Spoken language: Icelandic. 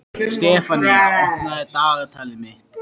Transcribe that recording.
Sefanía, opnaðu dagatalið mitt.